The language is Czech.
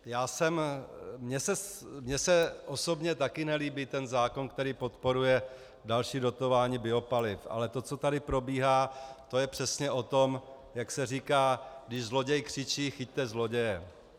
Mně se osobně taky nelíbí ten zákon, který podporuje další dotování biopaliv, ale to, co tady probíhá, to je přesně o tom, jak se říká, když zloděj křičí chyťte zloděje.